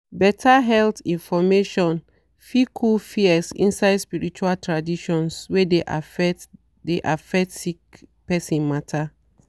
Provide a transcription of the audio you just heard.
better health information fit cool fears inside spirtual traditions wey de affect de affect sick person matter.